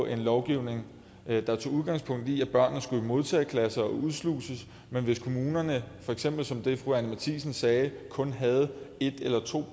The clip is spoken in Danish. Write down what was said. en lovgivning der tog udgangspunkt i at børnene skulle i modtageklasser og udsluses men hvis kommunerne for eksempel som det fru anni matthiesen sagde kun havde et eller to